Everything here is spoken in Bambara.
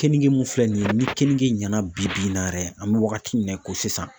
Kenige mun filɛ nin ye ni keninge ɲana bi bi in na yɛrɛ an bɛ wagati min na i ko sisan.